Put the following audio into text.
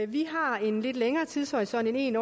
vi har en lidt længere tidshorisont end en